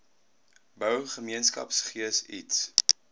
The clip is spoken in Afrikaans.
bou gemeenskapsgees iets